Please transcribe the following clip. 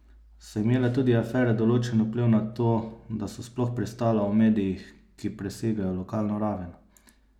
So imele tudi afere določen vpliv na to, da so sploh pristala v medijih, ki presegajo lokalno raven?